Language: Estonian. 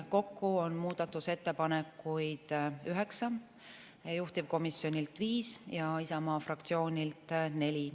Kokku on muudatusettepanekuid üheksa: juhtivkomisjonilt viis ja Isamaa fraktsioonilt neli.